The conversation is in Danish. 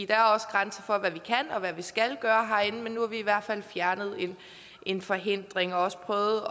der er også grænser for hvad vi kan og hvad vi skal gøre herinde men nu har vi i hvert fald fjernet en forhindring og også prøvet